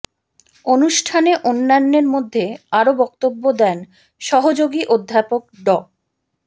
অনুষ্ঠানে অন্যান্যের মধ্যে আরও বক্তব্য দেন সহযোগী অধ্যাপক ড